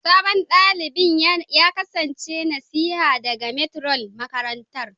Sabon dalibin ya kasance nasiha daga Matron na makarantar